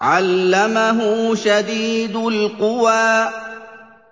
عَلَّمَهُ شَدِيدُ الْقُوَىٰ